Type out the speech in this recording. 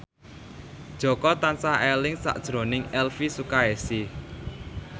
Jaka tansah eling sakjroning Elvi Sukaesih